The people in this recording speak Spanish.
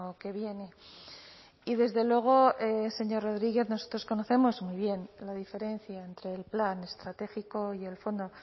que viene y desde luego señor rodriguez nosotros conocemos muy bien la diferencia entre el plan estratégico y el fondo